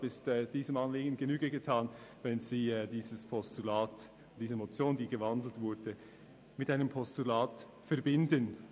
Deshalb ist diesem Anliegen Genüge getan, wenn Sie diese in ein Postulat umgewandelte Motion unterstützen.